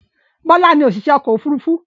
Bọ́lá ni òṣìṣẹ́ ọkọ̀-òfurufú.